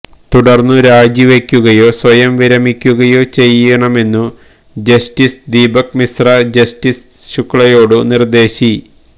തുടർന്നു രാജിവയ്ക്കുകയോ സ്വയം വിരമിക്കുകയോ ചെയ്യണമെന്നു ജസ്റ്റിസ് ദീപക് മിശ്ര ജസ്റ്റിസ് ശുക്ലയോടു നിർദേശി